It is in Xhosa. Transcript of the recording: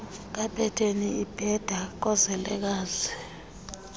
kapeteni ibetha koozelekazi